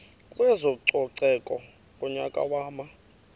kwezococeko ngonyaka wama